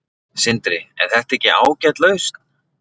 Sindri: Er þetta ekki ágæt lausn?